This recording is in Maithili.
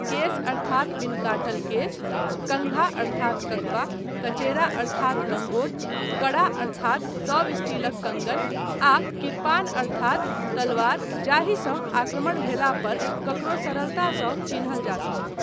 केस अर्थात बिन काटल केस, कन्घा अर्थात ककबा, कचेरा अर्थात लँगोट, कड़ा अर्थात सब स्टीलक कंगन आ किरपान अर्थात तलवार जाहिसँ आक्रमण भेलापर ककरो सरलतासँ चिन्हल जा सकय।